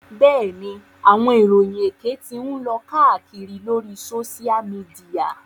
Bẹ́ẹ̀ni, awọn iroyin ékè ti ǹ lo kàakiri lori Sósial mìdìya